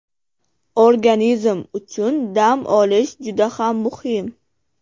Organizm uchun dam olish juda ham muhim.